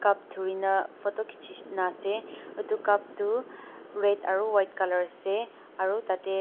cup dhurina photo kichi na ase itu cup tu red aru white colour ase aru tate--.